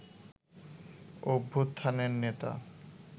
অভ্যুত্থানের নেতা